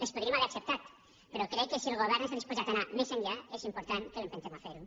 les podríem haver acceptat però crec que si el govern està disposat a anar més enllà és important que l’empentem a fer ho